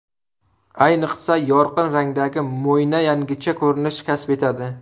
Ayniqsa, yorqin rangdagi mo‘yna yangicha ko‘rinish kasb etadi.